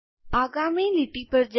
આગામી લીટી પર જાઓ